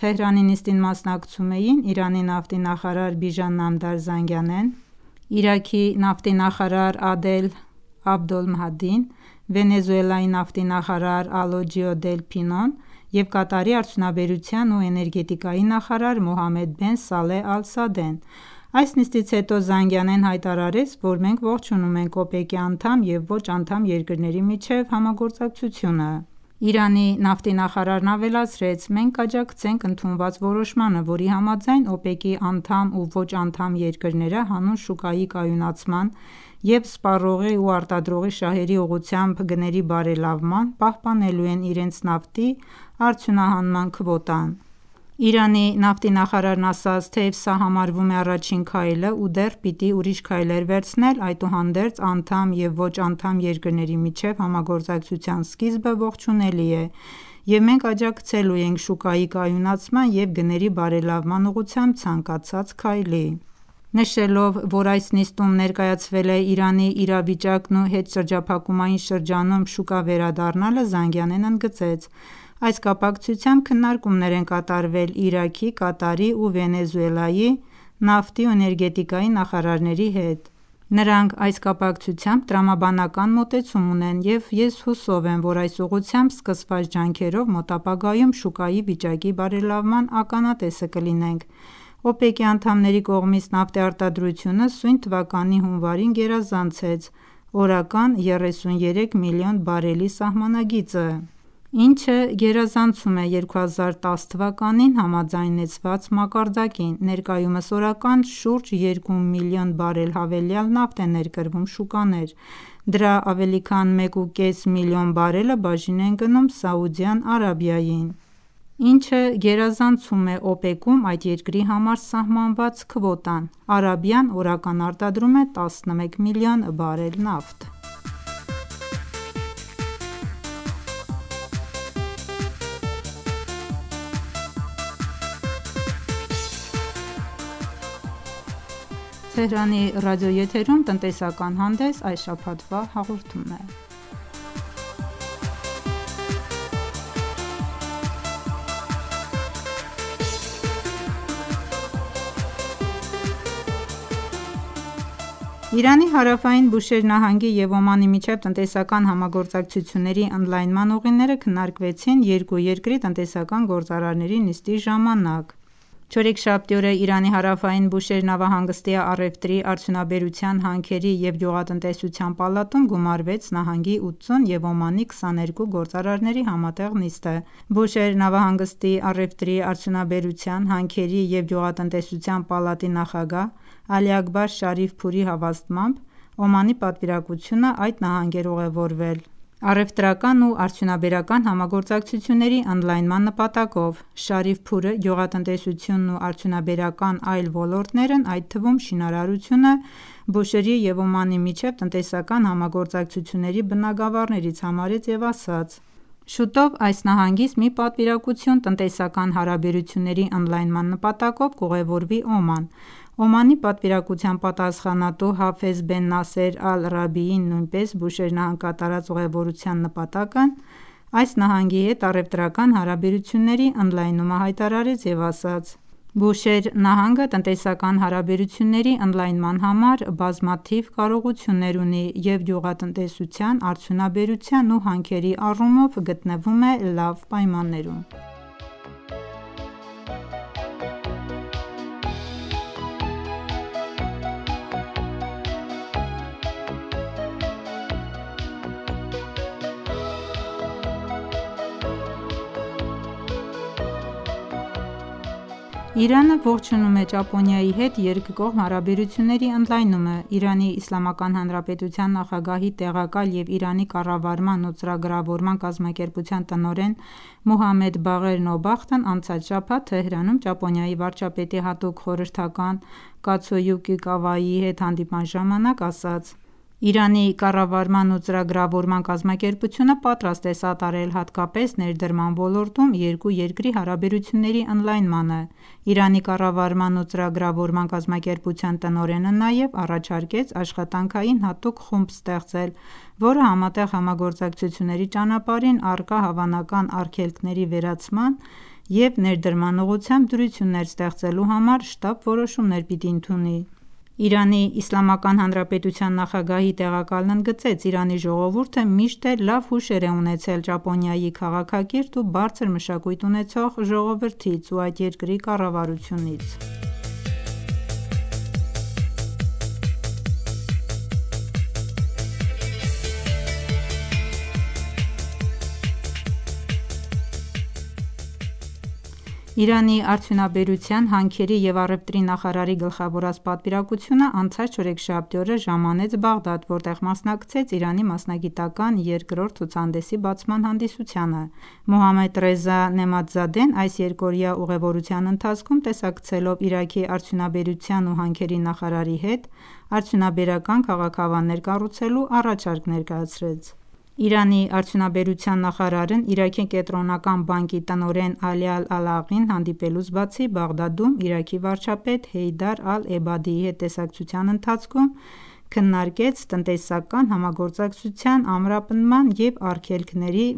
Թեհրանում, Իրանի նավթի նախարարության հյուրընկալությամբ մեկ այլ նիստ: Թեհրանի նիստին մասնակցում էին Իրանի նավթի նախարար Բիժան Նամդար Զանգանեն, Իրաքի նավթի նախարար Ադել Աբդոլմահդին, Վենեսուելայի նավթի նախարար Ալոջիո Դել Փինոն և Կատարի արդյունաբերության ու էներգետիկայի նախարար Մոհամմեդ Բեն Սալեհ Ալ-Սադեն: Այս նիստից հետո Զանգանեն հայտարարեց, որ մենք ողջունում ենք ՕՊԵԿ-ի անդամ և ոչ-անդամ երկրների միջև համագործակցությունը: Իրանի նավթի նախարարն ավելացրեց. «Մենք կաջակցենք ընդունված որոշմանը, որի համաձայն ՕՊԵԿ-ի անդամ ու ոչ- անդամ երկրները հանուն շուկայի կայունացման և սպառողի ու արտադրողի շահերի ուղղությամբ գների բարելավման, պահպանելու են իրենց նավթի արդյունահանման քվոտան»: Իրանի նավթի նախարարն ասաց. «Թեև սա համարվում է առաջին քայլը ու դեռ պիտի ուրիշ քայլեր վերցնել, այդուհանդերձ անդամ և ոչ-անդամ երկրների միջև համագործակցության սկիզբը ողջունելի է և մենք աջակցելու ենք շուկայի կայունացման և գների բարելավման ուղղությամբ ցանկացած քայլի»: Նշելով, որ այս նիստում ներկայացվել է Իրանի իրավիճակն ու հետշրջափակումային շրջանում շուկա վերադառնալը, Զանգանեն ընդգծեց. «Այս կապակցությամբ քննարկումներ են կատարվել Իրաքի, Կատարի ու Վենեսուելայի նավթի ու էներգետիկայի նախարարների հետ: Նրանք այս կապակցությամբ տրամաբանական մոտեցում ունեն և ես հուսով եմ, որ այս ուղղությամբ սկսված ջանքերով մոտ ապագայում շուկայի վիճակի բարելավման ականատեսը կլինենք»: ՕՊԵԿ-ի անդամների կողմից նավթի արտադրությունն սույն թվականի հունվարին գերազանցեց օրական 33 միլիոն բարելի սահմանագիծը, ինչը գերազանցում է 2010 թվականին համաձայնեցված մակարդակին: Ներկայումս օրական շուրջ 2 միլիոն բարել հավելյալ նավթ է ներկրվում շուկաներ: Դրա ավելի քան մեկ ու կես միլիոն բարելը բաժին է ընկնում Սաուդյան Արաբիային, ինչը գերազանցում է ՕՊԵԿ-ում այդ երկրի համար սահմանված քվոտան: Արաբիան օրական արտադրում է 11 միլիոն բարել նավթ: Իրանի հարավային Բուշեհր նահանգի և Օմանի միջև տնտեսական համագործակցությունների ընդլայնման ուղիները քննարկվեցին երկու երկրի տնտեսական գործարարների նիստի ժամանակ: Չորեքշաբթի օրը Իրանի հարավային Բուշեհր նավահանգստի առևտրի, արդյունաբերության, հանքերի ու գյուղատնտեսության պալատում գումարվեց նահանգի 80 և Օմանի 22 գործարարների համատեղ նիստը: Բուշեհր նավահանգստի առևտրի, արդյունաբերության, հանքերի ու գյուղատնտեսության պալատի նախագահ Ալի Աքբար Շարիֆ Փուրի հավաստմամբ Օմանի պատվիրակությունն այդ նահանգ էր ուղևորվել առևտրական ու արդյունաբերական համագործակցությունների ընդլայնման նպատակով: Շարիֆ Փուրը գյուղատնտեսությունն ու արդյունաբերական այլ ոլորտներն, այդ թվում շինարարությունը Բուշեհրի և Օմանի միջև տնտեսական համագործակցությունների բնագավառներից համարեց և ասաց, որ շուտով այս նահանգից մի պատվիրակություն տնտեսական հարաբերությունների ընդլայնման նպատակով կուղևորվի Օման: Օմանի պատվիրակության պատասխանատու Հաֆեզ Բեն Նասեր Ալ-Ռաբիին նույնպես Բուշեհր նահանգ կատարած ուղևորության նպատակն այս նահանգի հետ առևտրական հարաբերությունների ընդլայնումը հայտարարեց և ասաց. «Բուշեհր նահանգը տնտեսական հարաբերությունների ընդլայնման համար բազմաթիվ կարողություններ ունի և գյուղատնտեսության, արդյունաբերության ու հանքերի առումով գտնվում է լավ պայմաններում: Իրանը ողջունում է Ճապոնիայի հետ երկկողմ հարաբերությունների ընդլայնումը: ԻԻՀ նախագահի տեղակալ և Իրանի կառավարման ու ծրագրավորման կազմակերպության տնօրեն Մոհամմեդ Բաղեր Նոբախտն անցած շաբաթ՝ Թեհրանում, Ճապոնիայի վարչապետի հատուկ խորհրդական Կացոյուկի Կավայիի հետ հանդիպման ժամանակ ասաց. «Իրանի կառավարման ու ծրագրավորման կազմակերպությունը պատրաստ է սատարել հատկապես ներդրման ոլորտում երկու երկրի հարաբերությունների ընդլայնմանը»: Իրանի կառավարման ու ծրագրավորման կազմակերպության տնօրենը նաև առաջարկեց աշխատանքային հատուկ խումբ ստեղծել, որը համատեղ համագործակցությունների ճանապարհին առկա հավանական արգելքների վերացման և ներդրման ուղղությամբ դյուրություններ ստեղծելու համար շտապ որոշումներ պիտի ընդունի: ԻԻՀ նախագահի տեղակալն ընդգծեց. «Իրանի ժողովուրդը միշտ էլ լավ հուշեր է ունեցել Ճապոնիայի քաղաքակիրթ ու բարձր մշակույթ ունեցող ժողովրդից ու այդ երկրի կառավարությունից: Իրանի արդյունաբերության, հանքերի ու առևտրի նախարարի գլխավորած պատվիրակությունն անցած չորեքշաբթի օրը Բաղդադ ժամանեց, որտեղ մասնակցեց Իրանի մասնագիտական երկրորդ ցուցահանդեսի բացման հանդիսությանը: Մոհամմեդ Ռեզա Նեըմաթզադեն այս երկօրյա ուղևորության ընթացքում տեսակցելով Իրաքի արդյունաբերության ու հանքերի նախարարի հետ, արդյունաբերական քաղաքավաններ կառուցելու առաջարկ ներկայացրեց: Իրանի արդյունաբերության նախարարն Իրաքի Կենտրոնական բանկի տնօրեն Ալի Ալ-Աըլաղին հանդիպելուց բացի, Բաղդադում՝ Իրաքի վարչապետ Հեյդար Ալ-Էբադիի հետ տեսակցության ընթացքում քննարկեց տնտեսական համագործակցության ամրապնդման և արգելքների